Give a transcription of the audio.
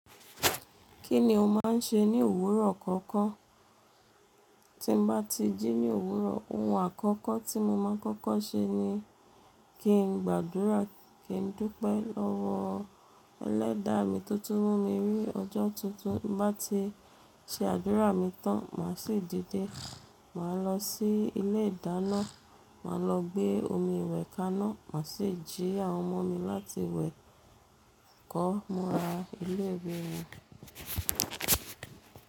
Kí ni o máa ń ṣe ní òwúrọ̀ kọ̀ọ̀kan? Tí ń bá ti jí ní òwúrọ̀, ohun àkọ́kọ́ tí mo máa ń kọ́kọ́ ṣe ni kí n gbàdúrà, kí n dúpẹ́ lọ́wọ́ Ẹlẹ́dàá mi tó tún mú mi rí ọjọ́ tuntun. Bá ti ṣe àdúrà mi tán, màá sì dìde. Màá lọ sí ilé ìdáná, màá lọ gbé omi iwẹ̀ kaná, màá sì jí àwọn ọmọ mi láti wẹ̀, kọ́, múra ilé ìwé wọn.